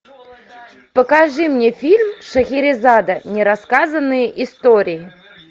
покажи мне фильм шахерезада нерассказанные истории